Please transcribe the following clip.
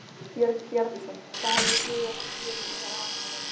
Björn Bjarnason: Hvað hef ég skrifað sem gerir mig vanhæfan?